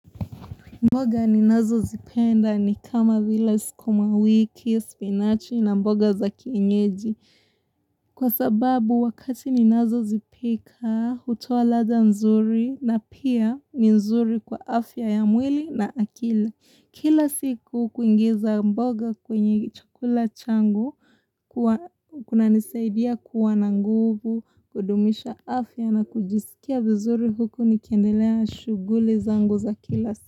Mboga ninazo zipenda ni kama vile sukumawiki, spinachi na mboga za kienyeji. Kwa sababu wakati ninazo zipika hutoa ladha nzuri, na pia ni nzuri kwa afya ya mwili na akili Kila siku kuingiza mboga kwenye chukula changu, huwa kunanisaidia kuwa na nguvu, kudumisha afya na kujisikia vizuri huku nikendelea shuguli zangu za kila siku.